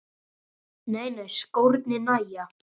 Nei nei, skórnir nægja.